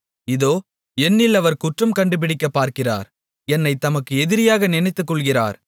இதோ என்னில் அவர் குற்றம் கண்டுபிடிக்கப்பார்க்கிறார் என்னைத் தமக்கு எதிரியாக நினைத்துக்கொள்ளுகிறார்